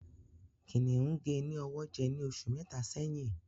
Kìnìún gé ní ọwọ jẹ ní oṣù mẹta sẹ́yín